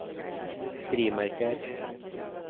frimerker